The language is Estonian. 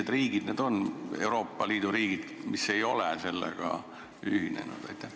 Ja millised Euroopa Liidu riigid ei ole sellega ühinenud?